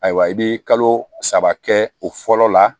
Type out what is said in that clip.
Ayiwa i bɛ kalo saba kɛ o fɔlɔ la